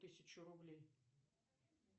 тысячу рублей